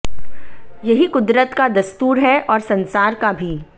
यही कुदरत का दस्तूर है और संसार का भी